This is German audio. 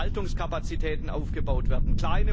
Hier sollen Verwaltungskapazitäten aufgebaut werden.